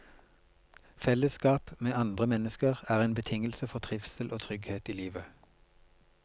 Fellesskap med andre mennesker er en betingelse for trivsel og trygghet i livet.